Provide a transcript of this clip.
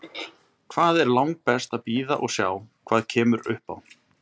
Það er langbest að bíða og sjá hvað kemur upp á.